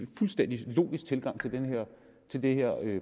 fuldstændig logisk tilgang til den her